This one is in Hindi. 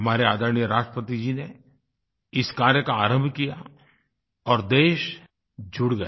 हमारे आदरणीय राष्ट्रपति जी ने इस कार्य का आरंभ किया और देश जुड़ गया